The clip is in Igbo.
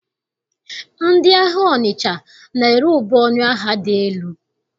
Ndị ahịa Ọnịcha na-ere ube ọnụ ahịa dị elu.